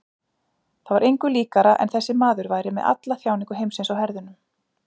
Það var engu líkara en þessi maður væri með alla þjáningu heimsins á herðunum.